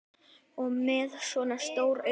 Og með svona stór augu.